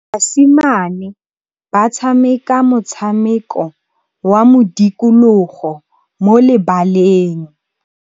Basimane ba tshameka motshameko wa modikologô mo lebaleng.